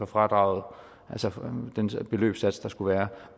fradraget altså den beløbssats der skulle være